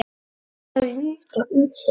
Mér líka um þig.